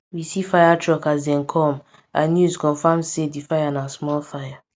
we see fire truck as dem com and news confam am say di fire na small fire